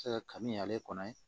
Se ka kabini ale kɔnɔ